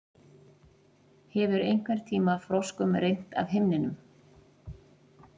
Hefur einhverntíma froskum rignt af himninum?